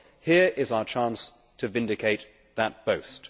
Well, here is our chance to vindicate that boast.